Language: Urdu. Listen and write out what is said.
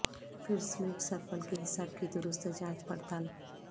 پھر سمیٹ سرپل کے حساب کی درست جانچ پڑتال